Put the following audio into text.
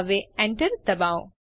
હવે એન્ટર દબાવો